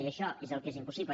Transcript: i això és el que és impossible